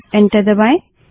अब एंटर दबायें